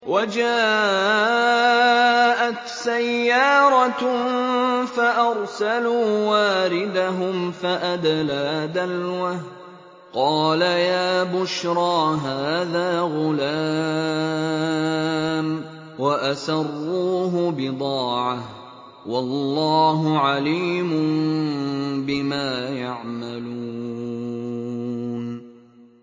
وَجَاءَتْ سَيَّارَةٌ فَأَرْسَلُوا وَارِدَهُمْ فَأَدْلَىٰ دَلْوَهُ ۖ قَالَ يَا بُشْرَىٰ هَٰذَا غُلَامٌ ۚ وَأَسَرُّوهُ بِضَاعَةً ۚ وَاللَّهُ عَلِيمٌ بِمَا يَعْمَلُونَ